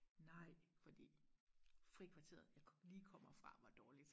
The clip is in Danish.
nej fordi frikvarteret jeg lige kommer fra var dårligt